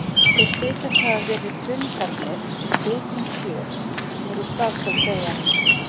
Þeir þykjast hafa verið hlunnfarnir, því skeytin sjö voru hvað skal segja